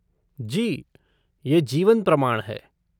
जी, ये जीवन प्रमाण है।